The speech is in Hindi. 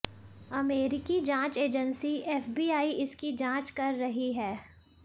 अमेरिकी जांच एजेंसी एफबीआई इसकी जांच कर रही है